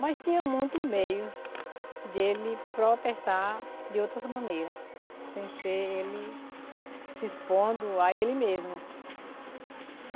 Mas tinha muitos meios de ele protestar de outras maneiras, sem ser ele se expondo a ele mesmo.